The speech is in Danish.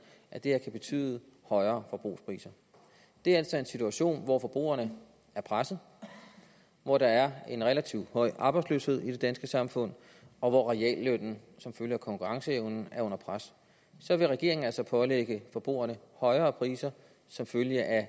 at det her kan betyde højere forbrugerpriser det er altså en situation hvor forbrugerne er presset hvor der er en relativt høj arbejdsløshed i det danske samfund og hvor reallønnen som følge af konkurrenceevnens er under pres så vil regeringen altså pålægge forbrugerne højere priser som følge af